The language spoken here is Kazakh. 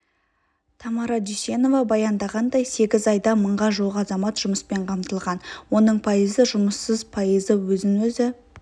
тамара дүйсенова баяндағандай сегіз айда мыңға жуық азамат жұмыспен қамтылған оның пайызы жұмыссыз пайызы өзін-өзі